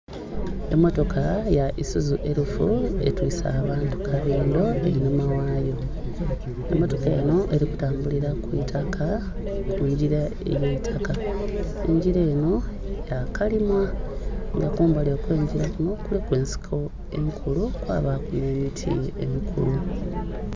Emmotoka ya Isuzu elf etwise abantu kabindho einhuma ghayo, emmotoka eno eli kutambulira ku itaka ku ngira ey'eitaka. Engira eno yakalimwa nga kumbali kw'engira kuno kuliku ensiko enkulu kwabaku n'emiti emikulu